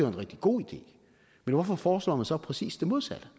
rigtig god idé men hvorfor foreslår man så præcis det modsatte